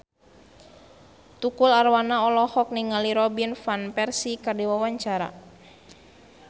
Tukul Arwana olohok ningali Robin Van Persie keur diwawancara